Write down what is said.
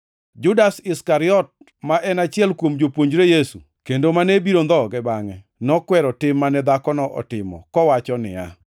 Judas Iskariot, ma en achiel kuom jopuonjre Yesu kendo mane biro ndhoge bangʼe, nokwero tim mane dhakono otimo, kowacho niya,